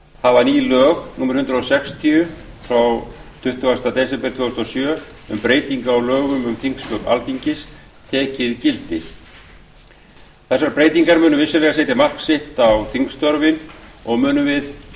hafa ný lög númer hundrað sextíu frá tuttugasta desember tvö þúsund og sjö um breytingu á lögum um þingsköp alþingis tekið gildi þessar breytingar munu vissulega setja mark sitt á þingstörfin og munum við